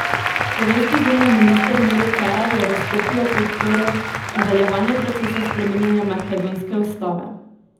Slovenski zunanji minister Miro Cerar je v Skopju podprl nadaljevanje procesa spreminjanja makedonske ustave.